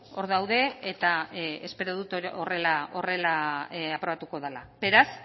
hor daude eta espero dut horrela aprobatuko dela beraz